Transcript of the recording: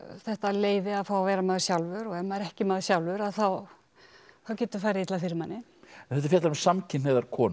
þetta leyfi að fá að vera maður sjálfur og ef maður er ekki maður sjálfur að þá getur farið illa fyrir manni þetta fjallar um samkynhneigðar konur